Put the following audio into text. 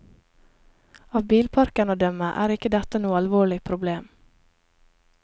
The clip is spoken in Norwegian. Av bilparken å dømme er ikke dette noe alvorlig problem.